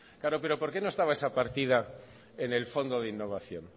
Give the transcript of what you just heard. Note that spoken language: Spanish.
claro pero por qué no estaba esa partida en el fondo de innovación